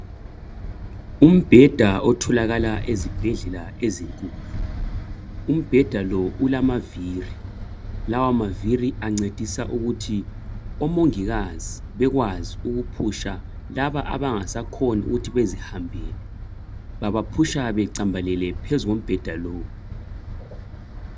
Umbheda otholakala ezibhedlela ezinkulu. Umbheda lo ulamaviri. Lawa maviri ancedisa ukuthi omongikazi bekwazi ukuphusha laba abangasakhona ukuba bezihambele babaphusha becambalele phezu kombheda lowu.